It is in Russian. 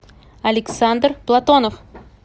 александр платонов